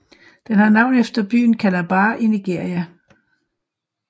Den har navn efter byen Calabar i Nigeria